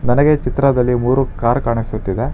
ನನಗೆ ಈ ಚಿತ್ರದಲ್ಲಿ ಮೂರು ಕಾರ್ ಕಾಣಿಸುತ್ತಿದೆ.